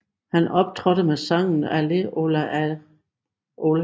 Han optrådte med sangen Allez Ola Olé